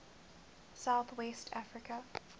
south west africa